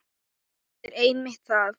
Það er einmitt það!